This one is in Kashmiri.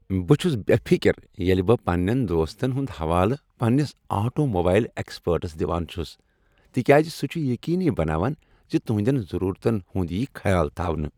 بہٕ چُھس بے فکر ییلہ بہٕ پننین دوستن ہُندحوالہٕ پننس آٹوموبائل ایکسپرٹس دِوان چُھس تکیاز سُہ چھ یقینی بناوان ز تہنٛدین ضرورتن ہنٛد یی خیال تھاونہٕ ۔